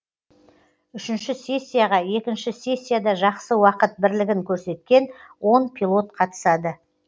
үшінші сессияға екінші сессияда жақсы уақыт бірлігін көрсеткен он пилот қатысады